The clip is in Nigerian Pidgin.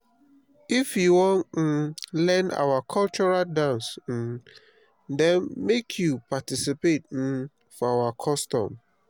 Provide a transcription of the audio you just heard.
if you wan um learn our cultural dance um dem make you participate um for our custom.